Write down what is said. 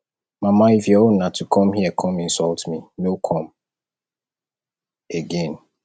mama if your own na to come here come insult me no come again